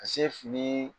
Ka se fini